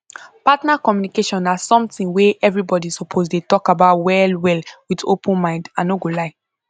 partner communication na something wey everybody suppose dey talk about well well with open mind i no go lie